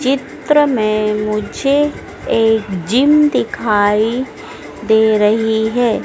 चित्र में मुझे एक जिम दिखाई दे रही है।